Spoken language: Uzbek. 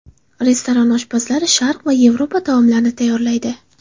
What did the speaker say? Restoran oshpazlari Sharq va Yevropa taomlarini tayyorlaydi.